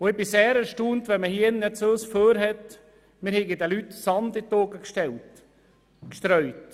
Ich bin sehr erstaunt, wenn man uns nun hier vorwirft, wir hätten den Leuten Sand in die Augen gestreut.